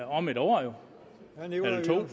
om et år eller